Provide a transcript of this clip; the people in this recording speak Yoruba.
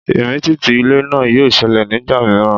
Ìmìtìtì ilẹ̀ náà yóò ṣẹlẹ̀ nígbà mìíràn